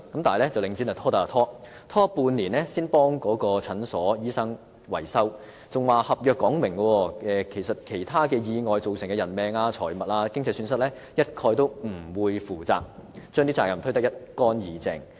但領展卻拖得便拖，半年後才替診所維修，還表示合約列明其他意外造成的人命、財物、經濟損失一概不會負責，將責任推得一乾二淨。